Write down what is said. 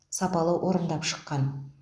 сапалы орындап шыққан